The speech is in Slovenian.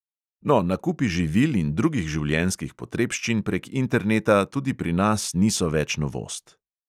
No, nakupi živil in drugih življenjskih potrebščin prek interneta tudi pri nas niso več novost.